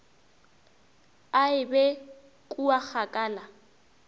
a e be kua kgakala